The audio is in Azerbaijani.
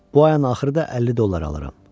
Bu ayın axırı da 50 dollar alıram.